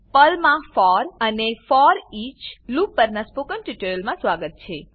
પર્લમાં for and foreach for અને foreach લૂપો પરનાં સ્પોકન ટ્યુટોરીયલમાં સ્વાગત છે